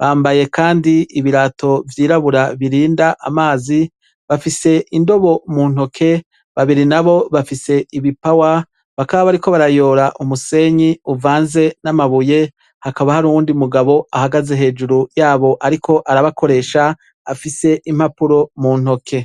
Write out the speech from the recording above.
bambaye kandi ibirato vyirabura birinda amazi, bafise indobo mu ntoke, babiri nabo bafise ibipawa, bakaba bari ko barayora umusenyi uvanze n'amabuye, hakaba hari uwundi mugabo ahagaze hejuru yabo ariko arabakoresha afise impapuro mu ntoke.